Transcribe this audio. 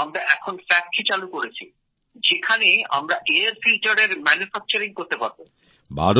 আমরা এখন কারখানা চালু করেছি যেখানে আমরা এয়ার ফিল্টারের উৎপাদন করতে পারব